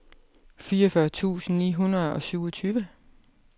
fireogfyrre tusind ni hundrede og syvogtyve